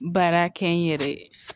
Baara kɛ n yɛrɛ ye